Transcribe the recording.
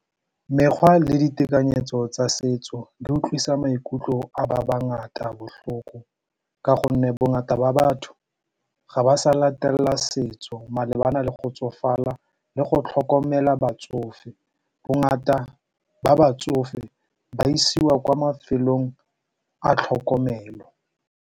Mekgwa le ditekanyetso tsa setso di utlwisa maikutlo a ba bangata botlhoko ka gonne bongata ba batho ga ba sa latelela setso malebana le go tsofala le go tlhokomela batsofe. Bongata ba batsofe ba isiwa kwa mafelong a tlhokomelo.